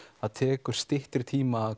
það tekur styttri tíma að